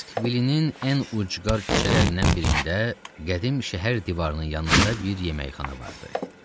Eskvilinin ən ucqar küçələrindən birində qədim şəhər divarının yanında bir yeməkxana vardı.